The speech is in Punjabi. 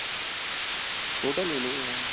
ਛੋਟਾ ਲੇਲੋ ਹਾਂ